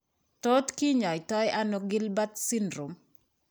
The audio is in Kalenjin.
Tot kinyaitaano Gilbert syndrome?